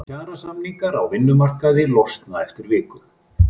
Kjarasamningar á vinnumarkaði losna eftir viku